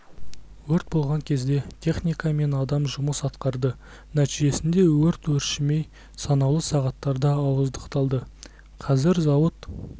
өрт болған жерде техника мен адам жұмыс атқарды нәтижесінде өрт өршімей санаулы сағаттарда ауыздықталды қазір зауыт